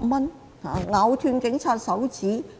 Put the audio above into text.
為何有些人